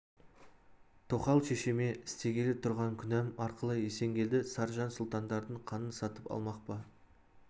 тоқал шешеме істегелі тұрған күнәм арқылы есенгелді саржан сұлтандардың қанын сатып алмақ па